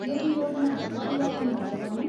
यदि योजनाहरू परिवर्तन भए भने?